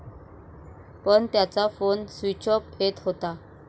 पण त्याचा phone switch off येत होता.